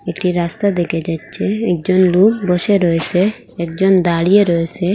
একটি রাস্তা দেকা যাচ্চে একজন লোক বসে রয়েসে একজন দাঁড়িয়ে রয়েসে ।